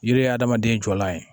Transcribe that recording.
Yiri ye hadamaden jɔlan ye